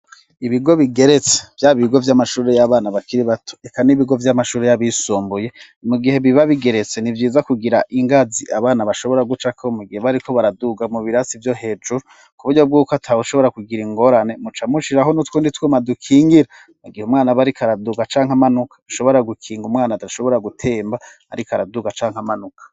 Ibigo bigeretse vyaba ibigo vy'amashuri y'abana bakiri bato reka n'ibigo vy'amashuri y'abisumbuye mu gihe biba bigeretse ntibyiza kugira ingazi abana bashobora gucako mugihe bariko baraduga mu birasi byo hejuru ku buryo bwuko atabe ushobora kugira ingorane mucamushire aho n'utwundi twuma dukingira mu gihe umwana barikaraduka cankamanuka ushobora gukinga umwana adashobora gutemba arikaraduka canke amanuka.